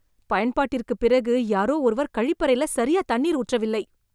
பயன்பாட்டிற்குப் பிறகு யாரோ ஒருவர் கழிப்பறைல சரியா தண்ணீர் ஊற்றவில்லை